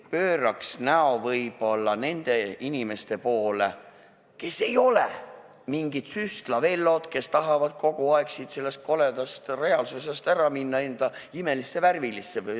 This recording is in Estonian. Pööraks näo võib-olla nende inimeste poole, kes ei ole mingid Süstla-Vellod, kes tahavad kogu aeg sellest koledast reaalsusest ära minna enda imelisse värvilisse maailma.